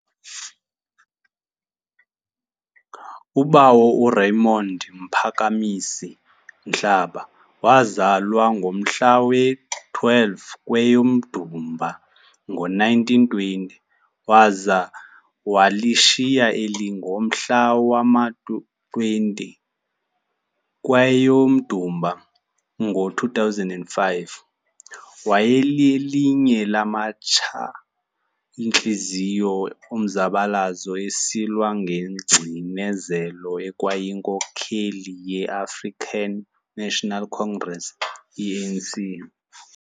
uBawo uRaymond Mphakamisi Mhlaba wazalwa ngomhla we-12 kweyoMdumba ngo1920, waza walishiya eli ngomhla wama-20 kweyoMdumba ngo2005. Wayelelinye lamatsha ntliziyo omzabalazo esilwa nengcinezelo ekwayinkokheli ye African National Congress, ANC.